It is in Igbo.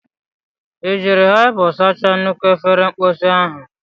Ị jiri hypo sachaa nnukwu efere mposi ahụ?